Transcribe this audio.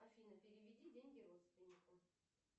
афина переведи деньги родственнику